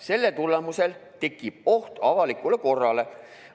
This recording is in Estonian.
Selle tulemusel tekib oht avalikule korrale.